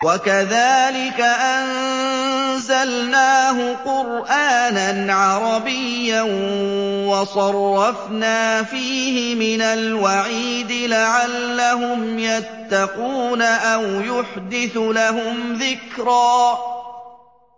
وَكَذَٰلِكَ أَنزَلْنَاهُ قُرْآنًا عَرَبِيًّا وَصَرَّفْنَا فِيهِ مِنَ الْوَعِيدِ لَعَلَّهُمْ يَتَّقُونَ أَوْ يُحْدِثُ لَهُمْ ذِكْرًا